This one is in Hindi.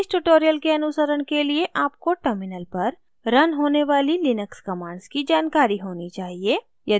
इस tutorial के अनुसरण के लिए आपको terminal पर रन होने वाली लिनक्स commands की जानकारी होनी चाहिए